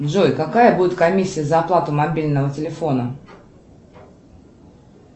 джой какая будет комиссия за оплату мобильного телефона